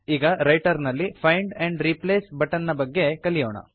ಈಗ ರೈಟರ್ ನಲ್ಲಿ find and replace button ನ ಬಗ್ಗೆ ಕಲಿಯೋಣ